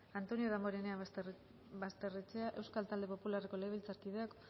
antonio damborenea basterrechea euskal talde popularreko legebiltzarkideak